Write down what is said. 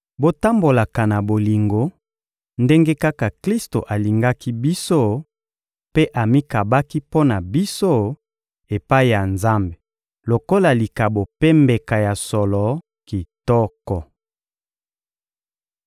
Botambolaka na bolingo, ndenge kaka Klisto alingaki biso mpe amikabaki mpo na biso epai ya Nzambe lokola likabo mpe mbeka ya solo kitoko.